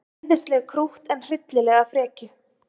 Æðislegt krútt en hryllilega frekju.